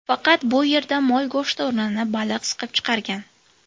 Faqat bu yerda mol go‘shti o‘rnini baliq siqib chiqargan.